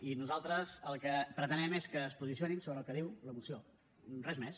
i nosaltres el que pretenem és que es posicionin sobre el que diu la moció res més